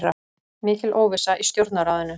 Mikil óvissa í Stjórnarráðinu